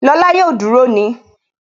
Lọ́la yóò duru ni